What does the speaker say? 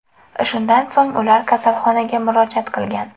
Shundan so‘ng ular kasalxonaga murojaat qilgan.